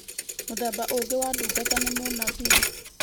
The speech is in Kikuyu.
Mũthemba ũngĩ wa ndungata nĩ mũnabii